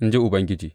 In ji Ubangiji.